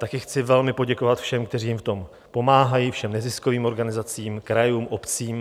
Také chci velmi poděkovat všem, kteří jim v tom pomáhají, všem neziskovým organizacím, krajům, obcím.